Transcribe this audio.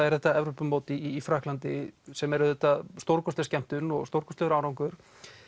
er þetta Evrópumót í Frakklandi sem er auðvitað stórkostleg skemmtun og stórkostlegur árangur